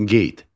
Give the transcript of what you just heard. Qeyd.